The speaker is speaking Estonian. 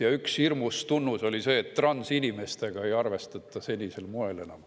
Ja üks hirmus tunnus oli see, et transinimestega ei arvestata enam senisel moel.